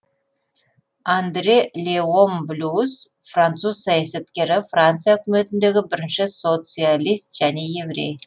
андре леон блюс француз саясаткері франция үкіметіндегі бірінші социалист және еврей